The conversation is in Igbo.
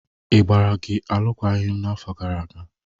A gbara gi alụkwaghịm n'afọ gara aga?